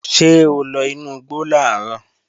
Ṣé o lọ inú igbo làárọ̀?